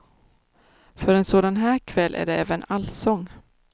För en sådan här kväll är det även allsång.